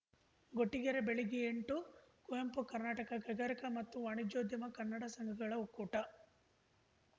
ಗೊಟ್ಟಿಗೆರೆ ಬೆಳಗ್ಗೆ ಎಂಟು ಕುವೆಂಪು ಕರ್ನಾಟಕ ಕೈಗಾರಿಕಾ ಮತ್ತು ವಾಣಿಜ್ಯೋದ್ಯಮ ಕನ್ನಡ ಸಂಘಗಳ ಒಕ್ಕೂಟ